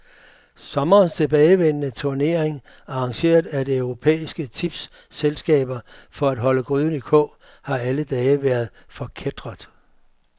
Sommerens tilbagevendende turnering, arrangeret af europæiske tipsselskaber for at holde gryden i kog, har alle dage været forkætret.